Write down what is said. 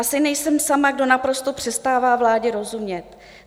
Asi nejsem sama, kdo naprosto přestává vládě rozumět.